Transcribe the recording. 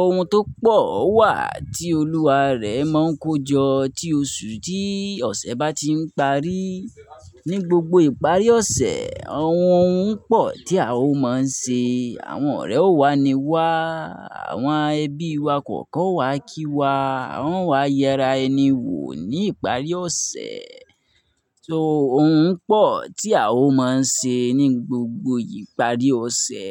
Oun tó pọ̀ wà tí olúwa rẹ̀ máa ń kojọ tí oṣù tí ọ̀sẹ̀ bá ti ń parí. Ní gbogbo ìparí ọ̀sẹ̀, àwọn oun pọ̀ tí a ó máa ń ṣe, àwọn ọ̀rẹ́ ó wá ní wá, àwọn ẹbí wa kọ̀ọ̀kan o wá kí wa, wọn o wá yẹra ẹni wò ní ìparí ọ̀sẹ̀. So oun pọ̀ tí a ó máa ń ṣe ní gbogbo ìparí ọ̀sẹ̀